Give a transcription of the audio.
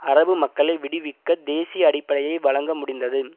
அரபு மக்களை விடுவிக்க தேசிய அடிப்படையை வழங்க முடிந்தது